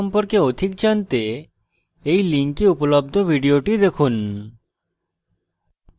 এই link উপলব্ধ video দেখুন